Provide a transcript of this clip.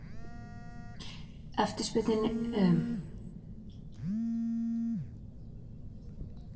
Heimir: Eftirspurnin er auðvitað gífurleg, sérstaklega hér á höfuðborgarsvæðinu?